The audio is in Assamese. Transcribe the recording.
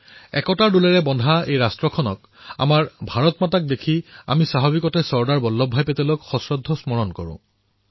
একতাৰ বন্ধনত বন্ধা এই ৰাষ্ট্ৰক আমাৰ ভাৰত মাতৃক দৰ্শন কৰি আমি স্বাভাৱিকতে চৰ্দাৰ বল্লভ ভাই পেটেলৰ পুণ্য স্মৃতি স্মৰণ কৰিছোঁ